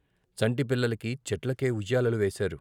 చంటి పిల్లలకి చెట్లకే ఉయ్యాలలు వేశారు.